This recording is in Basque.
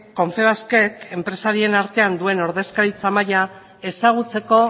confebaskek enpresarien artean duen ordezkaritza maila ezagutzeko